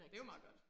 Det jo meget godt